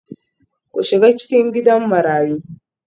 Ku shiga cikin Gidan Marayu